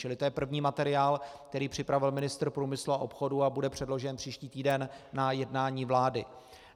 Čili to je první materiál, který připravil ministr průmyslu a obchodu a bude předložen příští týden na jednání vlády.